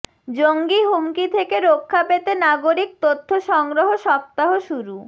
জঙ্গি হুমকি থেকে রক্ষা পেতে নাগরিক তথ্য সংগ্রহ সপ্তাহ শুরু